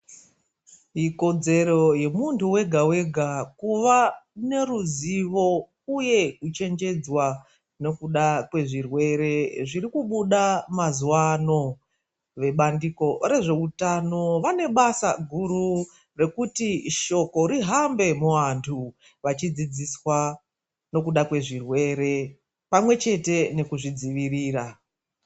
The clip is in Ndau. Ikodzero yemundu wega wega kuva neruzivo, uye kuchenjedzwa nekuda kwezvirwere zvirikubuda mazuwa ano. Vebandiko rezveutano vanebasa guru, rekuti shoko rihambe muvandu, vachidzidziswa nekuda kwezvirwere pamwechete nekuzvidzivirira.